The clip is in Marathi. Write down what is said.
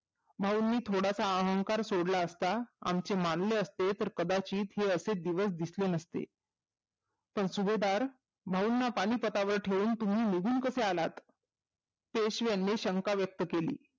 भाऊंनी थोडासा अहंकार सोडलाअसता आमची मानले असते तर कदाचित हे असे दिवस दिसले नसते पण सुभेदार भाऊंना पानिपतावर ठेऊन तुम्ही निघून कसे आलात पेशव्यानी शंका व्यक्त केली